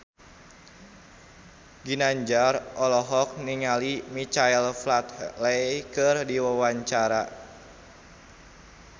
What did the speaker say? Ginanjar olohok ningali Michael Flatley keur diwawancara